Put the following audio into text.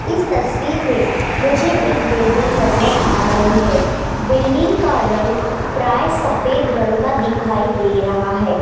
इस तस्वीर में मुझे एक बिल्डिंग नजर आ रही है बिल्डिंग का रंग प्राय सफेद रंग का दिखाई दे रहा है।